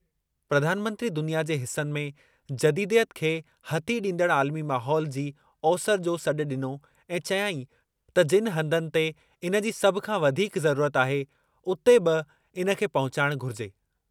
प्रधानमंत्री दुनिया जे हिसनि में जदीदयत खे हथी ॾींदड़ आलिमी माहौल जी ओसरि जो सॾु ॾिनो ऐं चयाईं त जिनि हंधनि ते इन जी सभु खां वधीक ज़रूरत आहे, हुते बि इन खे पहुचाइणु घुरिजे।